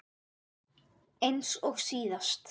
Eins og síðast?